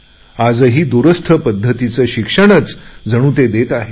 आजही दुरस्थ पध्दतीचे शिक्षणच जणू ते देत आहेत